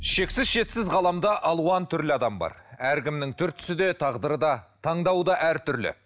шексіз шетсіз ғаламда алуан түрлі адам бар әркімнің түр түсі де тағдыры да таңдауы да әртүрлі